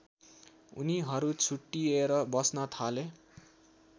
उनीहरु छुट्टिएर बस्न थाले